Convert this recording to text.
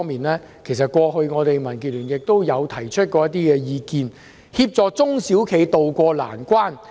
民建聯過去曾促請政府，協助中小企渡過難關。